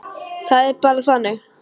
Það er bara þannig.